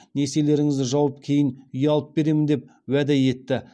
несиелеріңізді жауып кейін үй алып беремін деп уәде етті